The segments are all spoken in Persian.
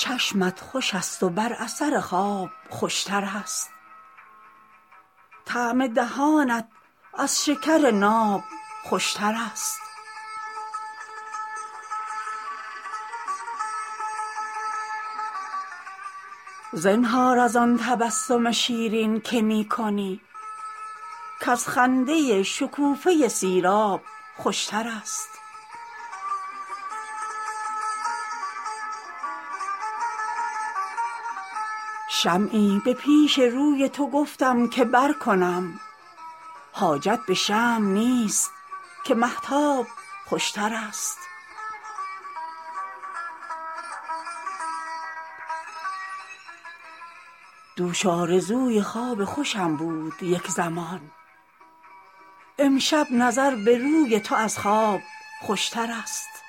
چشمت خوش است و بر اثر خواب خوش تر است طعم دهانت از شکر ناب خوش تر است زنهار از آن تبسم شیرین که می کنی کز خنده شکوفه سیراب خوش تر است شمعی به پیش روی تو گفتم که برکنم حاجت به شمع نیست که مهتاب خوش تر است دوش آرزوی خواب خوشم بود یک زمان امشب نظر به روی تو از خواب خوش تر است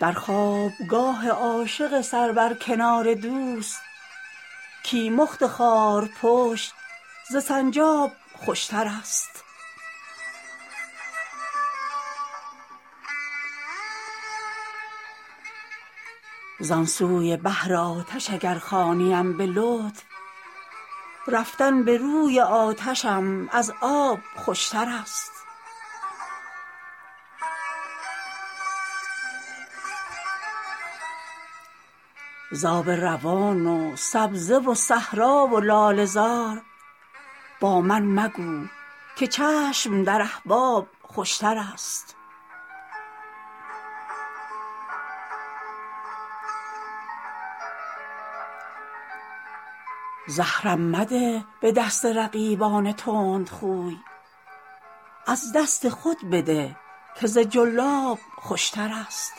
در خواب گاه عاشق سر بر کنار دوست کیمخت خارپشت ز سنجاب خوش تر است زان سوی بحر آتش اگر خوانیم به لطف رفتن به روی آتشم از آب خوش تر است ز آب روان و سبزه و صحرا و لاله زار با من مگو که چشم در احباب خوش تر است زهرم مده به دست رقیبان تندخوی از دست خود بده که ز جلاب خوش تر است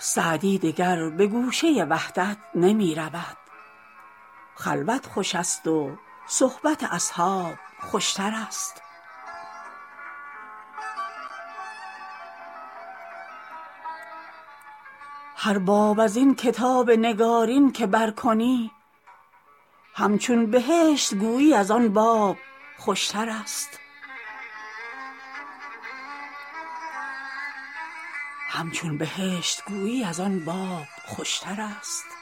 سعدی دگر به گوشه وحدت نمی رود خلوت خوش است و صحبت اصحاب خوش تر است هر باب از این کتاب نگارین که برکنی همچون بهشت گویی از آن باب خوشترست